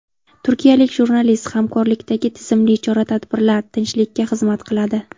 Turkiyalik jurnalist: Hamkorlikdagi tizimli chora-tadbirlar tinchlikka xizmat qiladi.